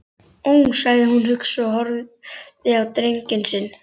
Ó, sagði hún hugsi og horfði á drenginn sinn.